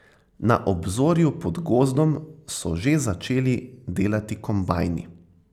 Na obzorju pod gozdom so že začeli delati kombajni.